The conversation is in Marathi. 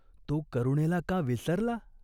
तो करुणेला का विसरला ?